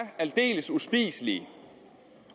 aldeles uspiselige